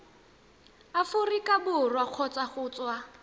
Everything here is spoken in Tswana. aforika borwa kgotsa go tswa